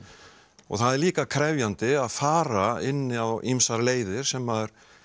og það er líka krefjandi að fara inn á ýmsar leiðir sem